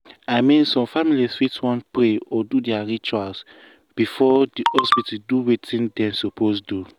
i mean some families fit wan pray or do their rituals before the hospital do wetin dem suppose do.